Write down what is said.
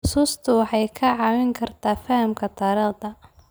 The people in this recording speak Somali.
Xusuustu waxay kaa caawin kartaa fahamka taariikhda.